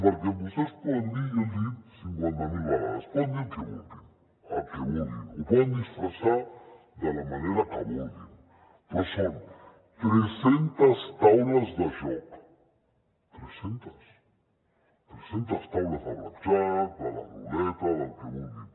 perquè vostès poden dir i jo els hi he dit cinquanta mil vegades el que vulguin el que vulguin ho poden disfressar de la manera que vulguin però són tres centes taules de joc tres centes tres centes taules de blackjack de la ruleta del que vulguin